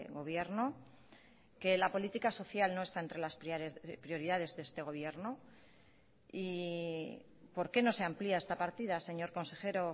gobierno que la política social no está entre las prioridades de este gobierno y por qué no se amplia esta partida señor consejero